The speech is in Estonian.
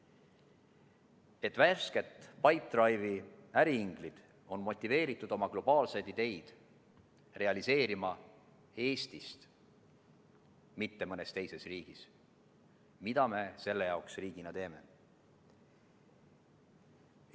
Et värsked Pipedrive'i äriinglid oleksid motiveeritud oma globaalseid ideid realiseerima Eestis, mitte mõnes teises riigis, mida me selle jaoks riigina teeme?